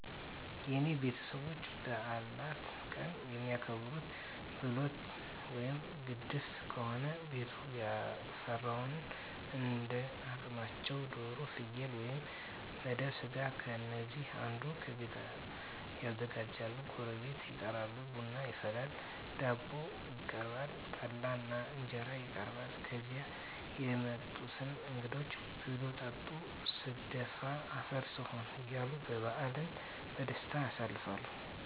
የኔ ቤተሰቦች በበዓላት ቀን የሚያከብሩት፦ ብሎት ወይም ግድፍት ከሆነ ቤቱ ያፈራውን እንዳ አቅማቸው ዶሮ፣ ፍየል ወይም መደብ ስጋ ከነዚህ አንዱን ከቤት ያዘጋጃሉ ጎረቤት ይጠራል፣ ቡና ይፈላል፣ ዳቦ ይቀርባል፣ ጠላ እና እንጀራም ይቀርባል ከዚያ የመጡትን እንግዶች ብሉ ጠጡ ስደፋ አፈር ስሆን እያሉ በዓልን በደስታ ያሳልፋሉ። ልዩ ቀኖችን ቤተክርስቲያን በመሔድ፣ የታመመ እና የወለደ በመጠየቅ ያሳልፋሉ።